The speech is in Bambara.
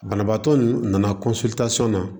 Banabaatɔ ninnu nana na